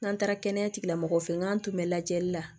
N'an taara kɛnɛya tigilamɔgɔw fɛ yen n'an tun bɛ lajɛli la